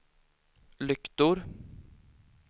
lyktor